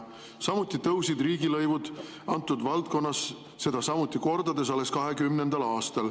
Samuti tõusid riigilõivud selles valdkonnas, samuti kordades, alles 2020. aastal.